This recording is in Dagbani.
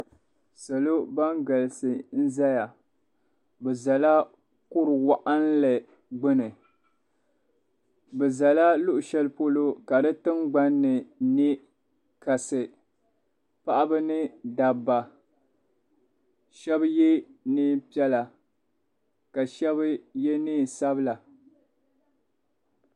Salo ban galisi n ʒɛya bi ʒɛla kuru waɣinli gbuni bi ʒɛya luɣu shɛli polo ka di tingbanni niŋ kasi paɣaba ni dabba shab yɛ neen piɛla ka shab yɛ neen sabila